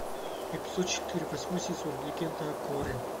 эпизод четыре восьмой сезон легенда о корре